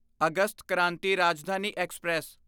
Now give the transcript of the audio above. August Kranti Rajdhani express